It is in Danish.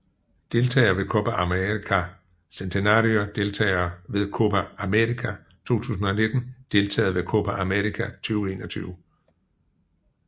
Deltagere ved Copa América Centenario Deltagere ved Copa América 2019 Deltagere ved Copa América 2021